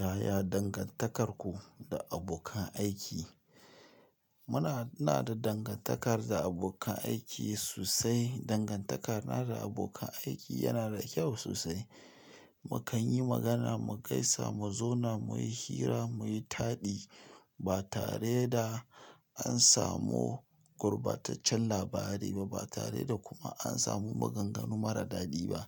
Yaya dangantakarku da abokan aiki? Muna, ina da dangantakar da abokan aiki sosai. Dangantakar na da abokan aiki yana da kyau sosai. Mu kan yi magana, mu gaisa, mu zauna, mu yi hira, mu yi taɗi. Ba tare da an samu gurbataccen labari ba, ba tare da kuma an samu maganganu marar daɗi ba.